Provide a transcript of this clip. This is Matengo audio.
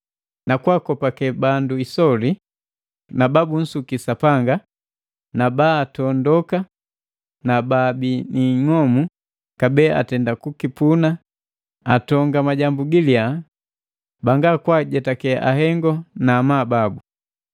nu kwa akakopakangane bandu isoli na babunsuki Sapanga na baatondoka na baabi ni ing'omu kabee atenda kukipuna atonga majambu giliya, banga kwaajetake ahengo na amabu babu.